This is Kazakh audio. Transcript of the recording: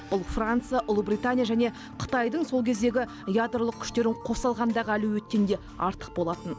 бұл франция ұлыбритания және қытайдың сол кездегі ядролық күштерін қоса алғандағы әлеуеттен де артық болатын